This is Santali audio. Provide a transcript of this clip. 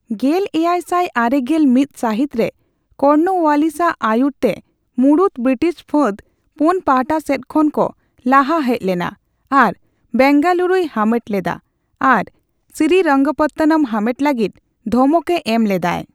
ᱜᱮᱞ ᱮᱭᱟᱭ ᱥᱟᱭ ᱟᱨᱮᱜᱮᱞ ᱢᱤᱛ ᱥᱟᱹᱦᱤᱛ ᱨᱮ ᱠᱚᱨᱱᱚᱳᱣᱟᱞᱤᱥ ᱟᱜ ᱟᱭᱩᱨᱛᱮ ᱢᱩᱲᱩᱛ ᱵᱤᱨᱤᱴᱤᱥ ᱯᱷᱟᱹᱫᱽ ᱯᱳᱱ ᱯᱟᱦᱴᱟ ᱥᱮᱫ ᱠᱷᱚᱱ ᱠᱚ ᱞᱟᱦᱟ ᱦᱮᱡ ᱞᱮᱱᱟ ᱟᱨ ᱵᱮᱝᱜᱟᱞᱩᱨᱩᱭ ᱦᱟᱢᱮᱴ ᱞᱮᱫᱟ ᱟᱨ ᱥᱤᱨᱤᱨᱚᱝᱯᱚᱛᱚᱱᱚᱢ ᱦᱟᱢᱮᱴ ᱞᱟᱹᱜᱤᱫ ᱫᱷᱚᱢᱚᱠ ᱮ ᱮᱢ ᱞᱮᱫᱟᱭ ᱾